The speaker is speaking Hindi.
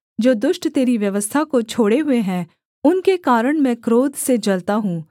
जो दुष्ट तेरी व्यवस्था को छोड़े हुए हैं उनके कारण मैं क्रोध से जलता हूँ